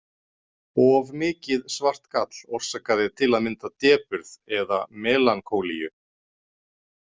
Of mikið svart gall orsakaði til að mynda depurð eða melankólíu.